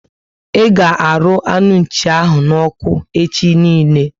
I ga arụ anu Nchi ahụ n'oku echi niile